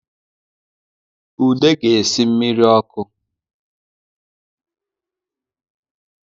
Ude ga-esi mmiri ọkụ